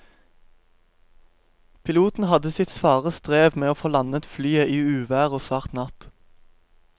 Piloten hadde sitt svare strev med å få landet flyet i uvær og svart natt.